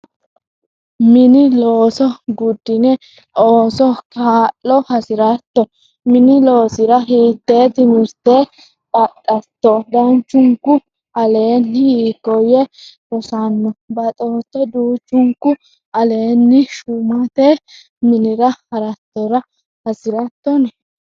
minii-loso guudini ooso? Kaa'llo has'rratto minii-losira? Hitee timirtee baaxatoo duuchuunkuu aleeni? Hiikoye rosisaancho baaxatoo duuchuunkuu aleeni? Shumatee minira haratora hasiratoni?